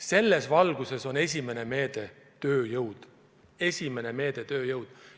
Selles valguses on esimene meede tööjõud – esimene meede on tööjõud!